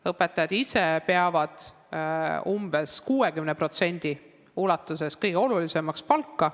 Õpetajad ise peavad umbes 60% ulatuses kõige olulisemaks palka.